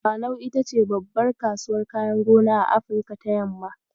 Dawanau ita ce babbar kasuwar kayan gona a Afrika ta yamma.